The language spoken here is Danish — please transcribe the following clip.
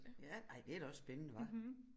Ja ej det er da også spændende hva